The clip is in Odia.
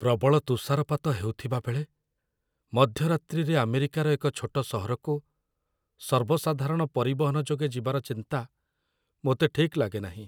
ପ୍ରବଳ ତୁଷାରପାତ ହେଉଥିବାବେଳେ, ମଧ୍ୟରାତ୍ରିରେ ଆମେରିକାର ଏକ ଛୋଟ ସହରକୁ ସର୍ବସାଧାରଣ ପରିବହନ ଯୋଗେ ଯିବାର ଚିନ୍ତା ମୋତେ ଠିକ୍ ଲାଗେନାହିଁ।